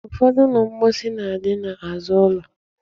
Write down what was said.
Ụfọdụ ụlọ mposi na-adị n'azụ ụlọ.